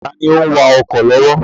Taàní òun wà ọkọ̀ lọ́wọ́?